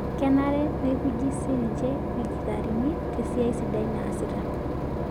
Kenare neiukuji sii ninche ilkitarini tesia sidai naasita.